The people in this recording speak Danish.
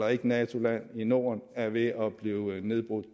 er et nato land i norden er ved at blive nedbrudt